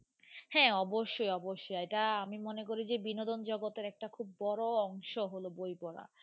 হ্যাঁ অবশ্যই অবশ্যই এটা আমি মনে করি যে বিনোদন জগতের একটা খুব বড় অংশ হল বই পড়া.